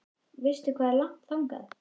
Veistu hvað er langt þangað?